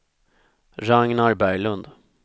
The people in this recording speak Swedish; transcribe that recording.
Ragnar Berglund